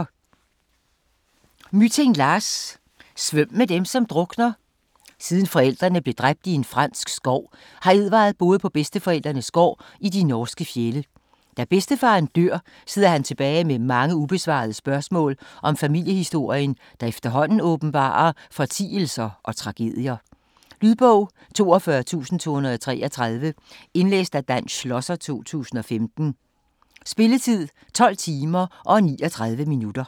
Mytting, Lars: Svøm med dem som drukner Siden forældrene blev dræbt i en fransk skov, har Edvard boet på bedsteforældrenes gård i de norske fjelde. Da bedstefaren dør, sidder han tilbage med mange ubesvarede spørgsmål om familiehistorien, der efterhånden åbenbarer fortielser og tragedier. Lydbog 42233 Indlæst af Dan Schlosser, 2015. Spilletid: 12 timer, 39 minutter.